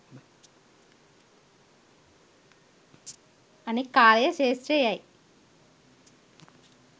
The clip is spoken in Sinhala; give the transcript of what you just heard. අනෙක් කාලය ක්‍ෂේත්‍රයේ යැයි